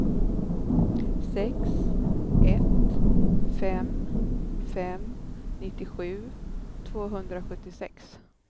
sex ett fem fem nittiosju tvåhundrasjuttiosex